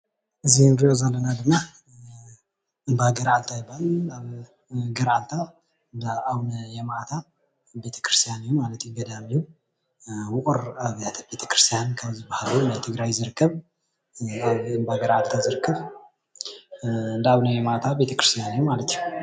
እዚ ንርእዮ ዘለና ድማ እምባ ገራዓልታ ይባሃል። ኣብ ገራዓልታ እንዳ ኣቡነ የማእታ ቤተክርስቲያን እዩ ማለት እዩ። ገዳም እዩ። ውቑር ኣብያተ ቤተ ክርስትያን ካብ ዝባሃሉ ኣብ ትግራይ ዝርከብ ፣እምባ ገራዓልታ ዝርከብ፣ እንዳ ኣቡነ የማእታ ቤተ ክርስትያ እዩ ማለት እዩ።